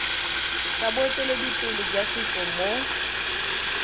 sa boeteledipele jwa setso mo